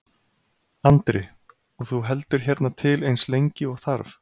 Andri: Og þú heldur hérna til eins lengi og þarf?